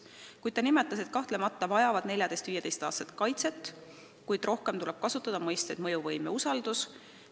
Samas ta nimetas, et kahtlemata vajavad 14–15-aastased kaitset, kuid rohkem tuleb apelleerida mõistetele "mõjuvõim" ja "usaldus".